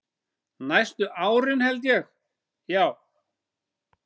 Næstu árin held ég, já.